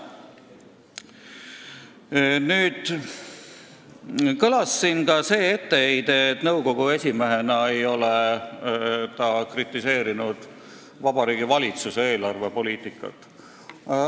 Siin kõlas ka see etteheide, et nõukogu esimehena ei ole ta kritiseerinud Vabariigi Valitsuse eelarvepoliitikat.